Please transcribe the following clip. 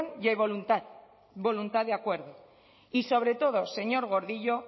y hay voluntad de acuerdo y sobre todo señor gordillo